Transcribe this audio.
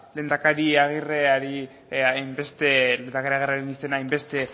lehendakari aguirreren izena hain beste